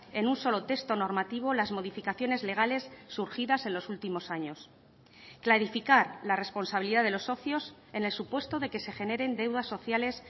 en un solo texto normativo las modificaciones legales surgidas en los últimos años clarificar la responsabilidad de los socios en el supuesto de que se generen deudas sociales